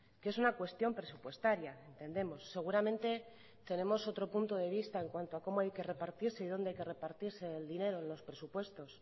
que es una cuestión presupuestaria entendemos seguramente tenemos otro punto de vista en cuanto cómo hay que repartirse y dónde hay que repartirse el dinero de los presupuestos